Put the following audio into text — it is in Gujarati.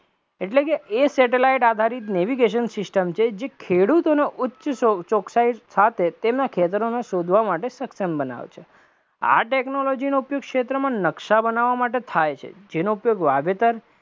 એટલે કે એ satellite આધારિત navigation system છે કે જે ખેડૂતોનો ઉચ્ચ ચોકસાઈ સાથે તેના ખેતરોને શોધવા માટે સક્ષમ બનાવે છે, આ technology નો ઉપયોગ ક્ષેત્રમાં નકશા બનવવા માટે થાય છે, જેનો ઉપયોગ વાવેતર